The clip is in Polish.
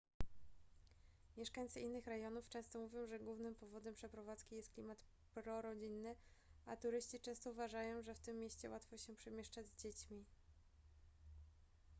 mieszkańcy innych rejonów często mówią że głównym powodem przeprowadzki jest klimat prorodzinny a turyści często uważają że w tym mieście łatwo się przemieszczać z dziećmi